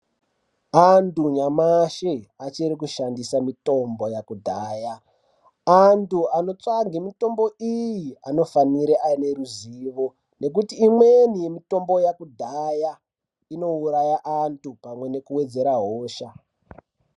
Antu nyamashi achiri kushandisa mitombo yakudhaya. Antu anotsvage mitombo iyi anofanire ane ruzivo nekuti imweni mitombo yakudhaya inouraya antu pamwe nekuwedzera hosha.